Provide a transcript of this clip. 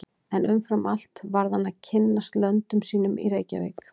En umfram allt varð hann að kynnast löndum sínum í Reykjavík.